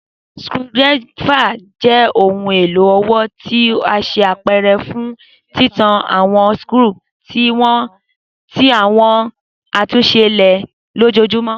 screwdriver jẹ ohun elo ọwọ ti a ṣe apẹrẹ fun titan awọn skru ti awọn atunṣe ile lojoojumọ.